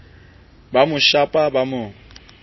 ba mo shapa ba mo